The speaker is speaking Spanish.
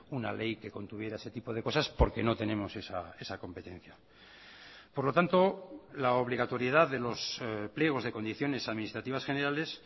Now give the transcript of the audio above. una ley que contuviera ese tipo de cosas porque no tenemos esa competencia por lo tanto la obligatoriedad de los pliegos de condiciones administrativas generales